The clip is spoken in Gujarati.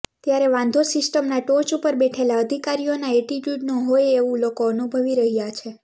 ત્યારે વાંધો સિસ્ટમના ટોચ ઉપર બેઠેલા અધિકારીઓના એટિટ્યુડનો હોય તેવું લોકો અનુભવી રહ્યાં છે